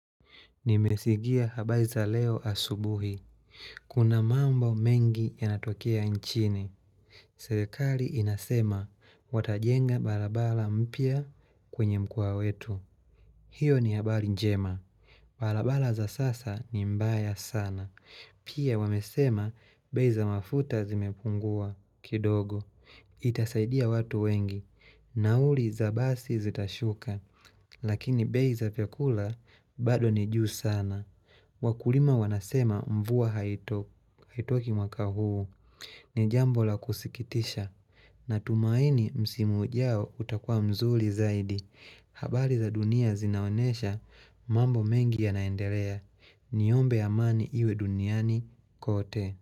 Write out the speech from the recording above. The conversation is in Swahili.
Nimesikia habari za leo asubuhi. Kuna mambo mengi yanatokea nchini. Serekali inasema watajenga barabara mpya kwenye mkoa wetu. Hiyo ni habari njema. Balabala za sasa ni mbaya sana. Pia wamesema bei za mafuta zimepungua kidogo. Itasaidia watu wengi. Nauli za basi zitashuka. Lakini bei za chakula bado ni juu sana. Wakulima wanasema mvua haitoshii mwaka huu ni jambo la kusikitisha natumaini msimu ujao utakuwa mzuri zaidi. Habari za dunia zinaonyesha mambo mengi yanaendelea. Niombe amani iwe duniani kote.